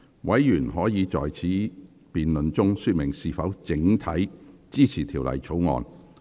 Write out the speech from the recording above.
委員可在此辯論中說明是否整體支持《條例草案》。